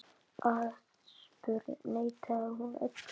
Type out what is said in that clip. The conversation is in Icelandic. Aðspurð neitaði hún öllu.